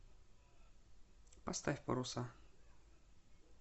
поставь паруса